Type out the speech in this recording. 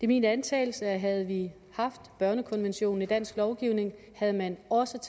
min antagelse at havde vi haft børnekonventionen i dansk lovgivning havde man også